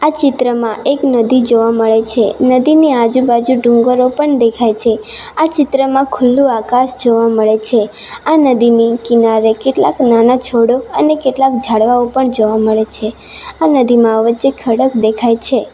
ચિત્રમાં એક નદી જોવા મળે છે નદીની આજુબાજુ ડુંગરો પણ દેખાય છે આ ચિત્રમાં ખુલ્લું આકાશ જોવા મળે છે આ નદીની કિનારે કેટલાક નાના છોડો અને કેટલાક ઝાડવાઓ પણ જોવા મળે છે આ નદીમાં વચ્ચે ખડક દેખાય છે.